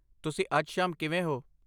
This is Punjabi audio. ਤੁਸੀਂ ਅੱਜ ਸ਼ਾਮ ਕਿਵੇਂ ਹੋ?